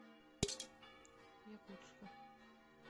якутску